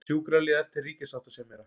Sjúkraliðar til ríkissáttasemjara